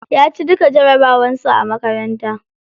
Ya ci duka jarabawar sa a makaranta.